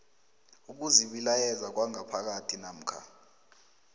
ukuzibilayeza kwangaphakathi namkha